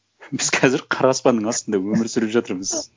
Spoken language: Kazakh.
біз қазір қара аспанның астында өмір сүріп жатырмыз